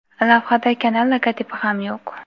lavhada kanal logotipi ham yo‘q.